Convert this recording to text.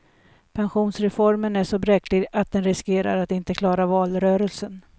Pensionsreformen är så bräcklig att den riskerar att inte klara valrörelsen.